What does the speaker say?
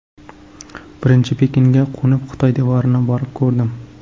Birinchi Pekinga qo‘nib, Xitoy devorini borib ko‘rdim.